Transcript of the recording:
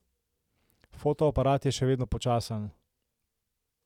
Fotoaparat je še vedno počasen.